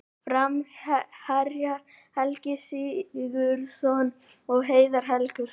Framherjar: Helgi Sigurðsson og Heiðar Helguson.